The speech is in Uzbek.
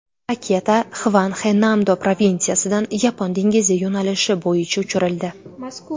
Raketa Xvanxe-Namdo provinsiyasidan Yapon dengizi yo‘nalishi bo‘yicha uchirildi.